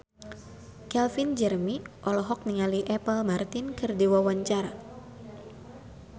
Calvin Jeremy olohok ningali Apple Martin keur diwawancara